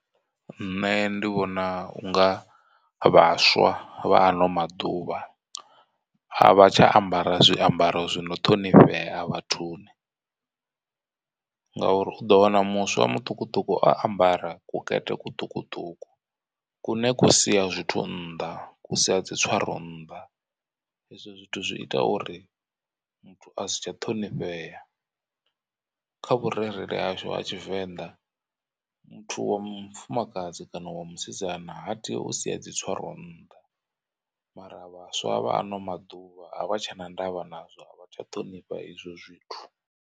Nṋe ndi vhona unga vhaswa vha ano maḓuvha a vha tsha ambara zwiambaro zwino ṱhonifhea vhathuni, ngauri u ḓo wana muswa mutukutuku a ambara kekete kuṱukuṱuku. Kune ku sia zwithu nnḓa ku sia dzi tswaro nnḓa hezwo zwithu zwi ita uri muthu asi tsha ṱhonifhea. Kha vhurereli hashu ha tshivenḓa muthu wa mufumakadzi kana wa musidzana ha tei u sia dzi tswaro nnḓa, mara vhaswa vha ano maḓuvha a vha tshena ndavha nazwo a vha tsha ṱhonifha izwo zwithu.